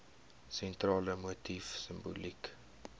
sentrale motief simboliek